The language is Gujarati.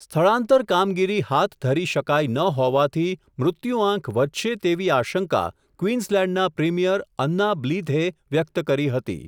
સ્થળાંતર કામગીરી હાથ ધરી શકાઇ ન હોવાથી, મૃત્યુઆંક વધશે તેવી આશંકા કવીન્સલેન્ડના પ્રીમિયર અન્ના બ્લીધે વ્યકત કરી હતી.